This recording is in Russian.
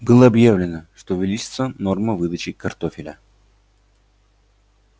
было объявлено что увеличится норма выдачи картофеля